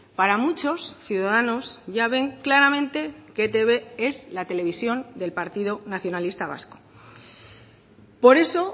para muchos ciudadanos ya ven claramente que etb es la televisión del partido nacionalista vasco por eso